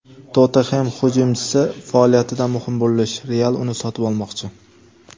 "Tottenhem" hujumchisi faoliyatida muhim burilish: "Real" uni sotib olmoqchi;.